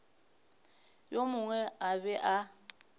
yo mongwe a be a